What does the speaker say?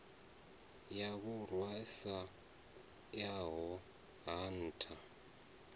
ya vhurwa sa yaho hatha